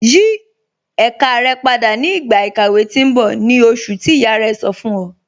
Yí èká rẹ̀ pádà ni igba ikàwé tì n bọ̀, ni oṣùn tí iyá rẹ̀ sọ̀ fún ọ̀.